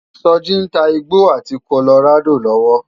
Soji n tá igbó áti kólórádó lòwò